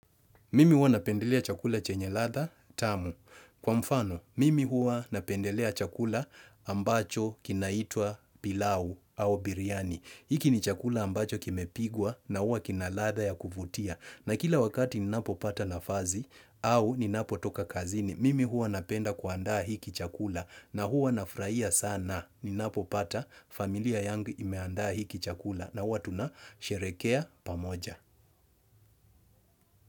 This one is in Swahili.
Mimi huwa napendelea chakula chenye ladha tamu. Kwa mfano, mimi huwa napendelea chakula ambacho kinaitwa pilau au biriani. Hiki ni chakula ambacho kimepigwa na huwa kina ladha ya kuvutia. Na kila wakati ninapopata nafazi au ninapotoka kazini, mimi huwa napenda kuandaa hiki chakula na huwa nafraia sana. Ninapopata familia yangu imeandaa hiki chakula na huwa tunasherekea pamoja.